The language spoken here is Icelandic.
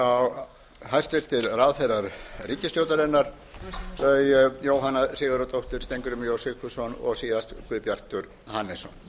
einnig hæstvirtir ráðherrar ríkisstjórnarinnar þau jóhanna sigurðardóttir steingrímur j sigfússon og síðast guðbjartur hannesson